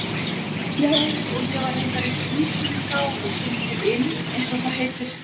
Já, og ég var reyndar í klíkunni þá og svolítið inn eins og það heitir.